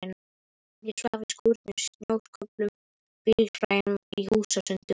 Ég svaf í skúrum, snjósköflum, bílhræjum, í húsasundum.